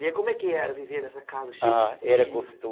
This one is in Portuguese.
E como é que era viver nessa casa cheia de filhos? Ah, era gostoso